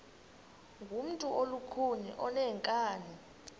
ngumntu olukhuni oneenkani